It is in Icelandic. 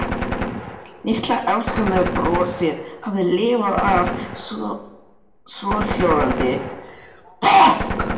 Litla afsökunarbrosið hafði lifað af, svohljóðandi